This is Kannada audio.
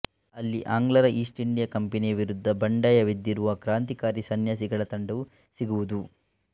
ಅಲ್ಲಿ ಆಂಗ್ಲರ ಈಸ್ಟ್ ಇಂಡಿಯಾ ಕಂಪೆನಿಯ ವಿರುದ್ದ ಬಂಡಾಯವೆದ್ದಿರುವ ಕ್ರಾಂತಿಕಾರಿ ಸನ್ಯಾಸಿಗಳ ತಂಡವು ಸಿಗುವುದು